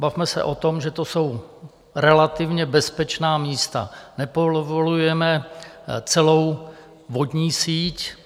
Bavme se o tom, že to jsou relativně bezpečná místa, nepovolujeme celou vodní síť.